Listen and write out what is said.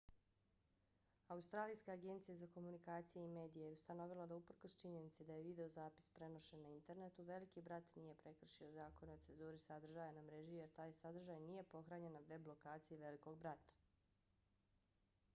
australijska agencija za komunikacije i medije acma je ustanovila da uprkos činjenici da je videozapis prenošen na internetu veliki brat nije prekršio zakone o cenzuri sadržaja na mreži jer taj sadržaj nije pohranjen na web lokaciji velikog brata